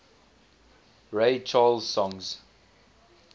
ray charles songs